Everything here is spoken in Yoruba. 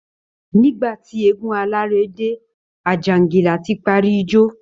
Nígbà tí eégún alárè dé, Àjàǹgìlá ti parí ijó